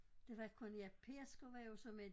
Det var kun ja Pedersker var jo så med